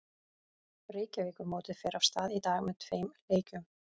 Reykjavíkurmótið fer af stað í dag með tveim leikjum.